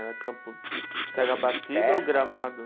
Era campo, terra batida ou gramado?